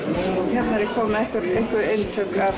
hérna er ég komin með einhver eintök af